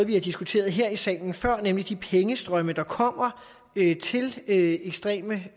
vi har diskuteret her i salen før nemlig de pengestrømme der kommer til ekstreme